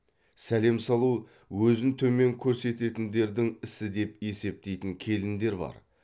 сәлем салу өзін төмен көрсететіндердің ісі деп есептейтін келіндер бар